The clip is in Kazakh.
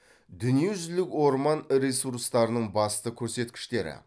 дүниежүзілік орман ресурстарының басты көрсеткіштері